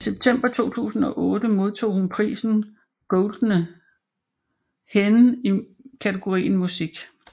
I september 2008 modtog hun prisen Goldene Henne i kategorien Musik